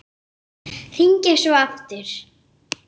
Fleiri tjá sig um málið